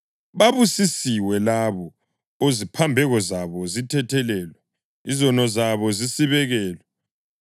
“Babusisiwe labo oziphambeko zabo zithethelelwe, ozono zabo zisibekelwe.